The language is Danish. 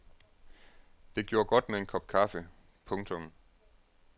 Det gjorde godt med en kop kaffe. punktum